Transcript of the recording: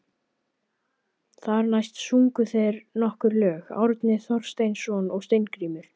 Þar næst sungu þeir nokkur lög, Árni Thorsteinsson og Steingrímur